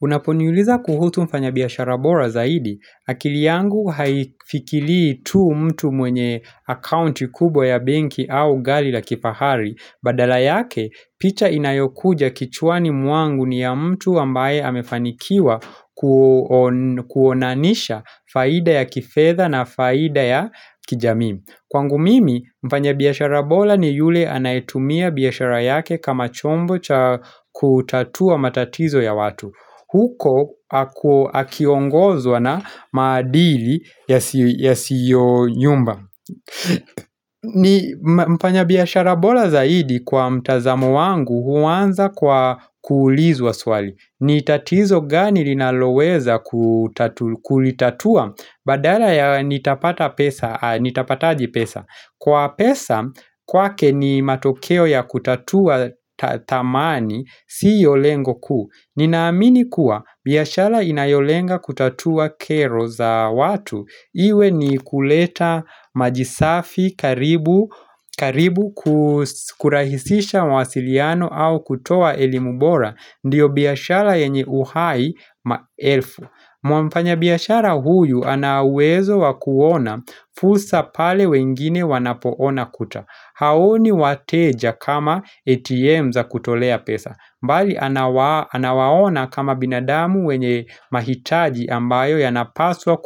Unaponiuliza kuhusu mfanya biashara bora zaidi, akili yangu haifikilii tu mtu mwenye akounti kubwa ya benki au gari la kifahari. Badala yake, picha inayokuja kichwani mwangu ni ya mtu ambaye amefanikiwa kuonanisha faida ya kifetha na faida ya kijamii. Kwangu mimi, mfanya biashara bora ni yule anaitumia biashara yake kama chombo cha kutatua matatizo ya watu. Huko akiongozwa na maadili yasiyo nyumba. Mfanya biashara bora zaidi kwa mtazamo wangu huanza kwa kuulizwa swali Nitatizo gani linaloweza kulitatua badala ya nitapataji pesa Kwa pesa kwake ni matokeo ya kutatua thamani siyolengo ku Ninaamini kuwa biashara inayolenga kutatua kero za watu iwe ni kuleta maji safi karibu karibu kurahisisha mawasiliano au kutoa elimu bora ndiyo biashara yenye uhai maelfu. Mfanya biashara huyu anauwezo wakuona fursa pale wengine wanapoona kuta Haoni wateja kama ATM za kutolea pesa mbali anawaona kama binadamu wenye mahitaji ambayo yanapaswa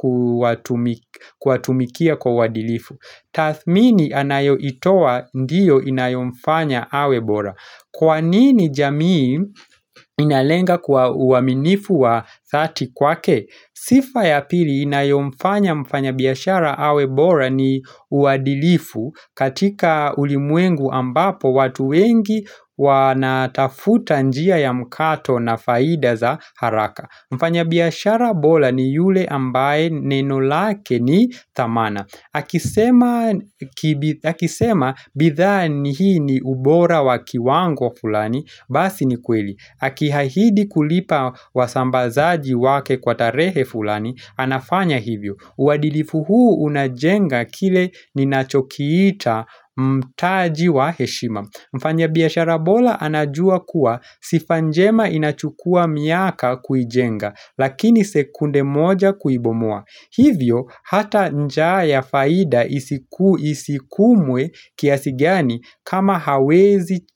kuatumikia kwa uadilifu Tathmini anayoitoa ndiyo inayomfanya awe bora Kwa nini jamii inalenga kwa uaminifu wa dhati kwake? Sifa ya pili inayomfanya mfanya biashara awe bora ni uadilifu katika ulimwengu ambapo watu wengi wanatafuta njia ya mkato na faida za haraka. Mfanya biashara bora ni yule ambaye neno lake ni thamana. Akisema bidhaa ni hii ni ubora wakiwango fulani, basi ni kweli. Aki ahidi kulipa wasambazaji wake kwa tarehe fulani, anafanya hivyo. Uwadilifu huu unajenga kile ninachokiita mtaji wa heshima. Mfanya biashara bora anajua kuwa sifa njema inachukua miaka kuijenga lakini sekunde moja kuibomoa. Hivyo hata njaa ya faida isikumwe kiasi gani kama hawezi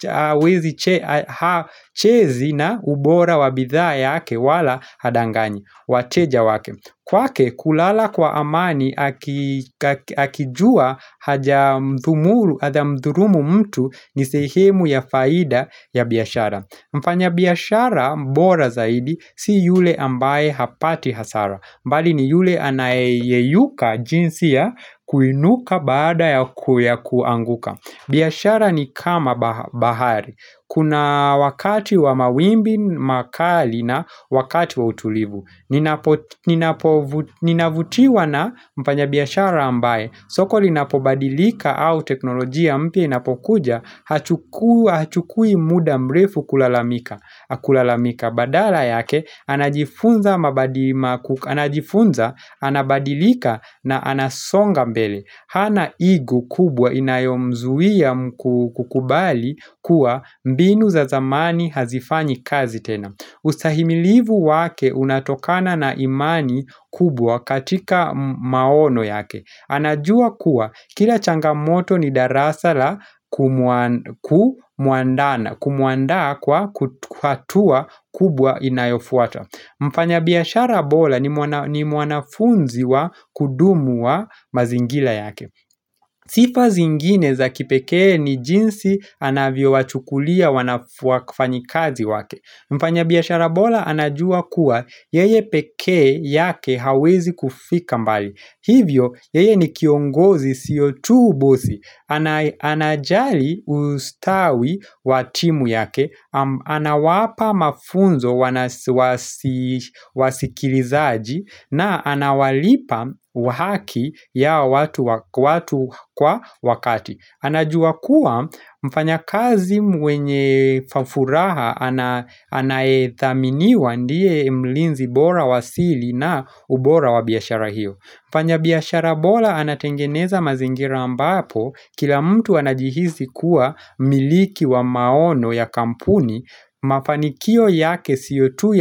hachezi na ubora wabidhaa yake wala hadanganyi. Wateja wake. Kwake kulala kwa amani akijua haja mthurumu mtu nisehemu ya faida ya biashara Mfanya biashara mbora zaidi si yule ambaye hapati hasara mbali ni yule anayeyuka jinsi ya kuinuka baada ya kuanguka biashara ni kama bahari Kuna wakati wa mawimbi makali na wakati wa utulivu ninapo Ninavutiwa na mfanya biashara ambaye soko linapobadilika au teknolojia mpya inapokuja Hachukui muda mrefu kulalamika Badala yake anajifunza anabadilika na anasonga mbele Hana ego kubwa inayomzuia kukubali kuwa mbinu za zamani hazifanyi kazi tena Usahimilivu wake unatokana na imani kubwa katika maono yake anajua kuwa kila changamoto ni darasa la kumuandaa kwa hatua kubwa inayofuata Mfanya biashara bora ni mwanafunzi wa kudumu wa mazingira yake Sifa zingine za kipekee ni jinsi anavyo wachukulia wafanyikazi wake Mfanya biashara bora anajua kuwa yeye peke yake hawezi kufika mbali. Hivyo yeye ni kiongozi sio tu bosi. Anajali ustawi watimu yake, anawapa mafunzo wasikilizaji na anawalipa wahaki ya watu kwa wakati. Anajua kuwa mfanya kazi mwenye furaha anayethaminiwa ndiye mlinzi bora wasili na ubora wa biashara hiyo. Mfanya biashara bora anatengeneza mazingira ambapo kila mtu anajihisi kuwa miliki wa maono ya kampuni mafanikio yake siyotu ya.